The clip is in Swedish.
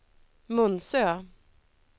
Munsö